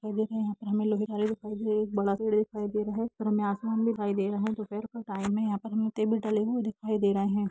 इस में बहुत सरे लोग दिख रहे है ऊपर आसामन दिख रहा है दोपर का टाइम है दिख रहा है दोपर के का टाइम है तेव दिख रहा हैं।